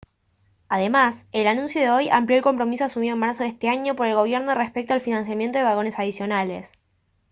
además el anuncio de hoy amplió el compromiso asumido en marzo de este año por el gobierno respecto al financiamiento de vagones adicionales